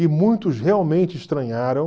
E muitos realmente estranharam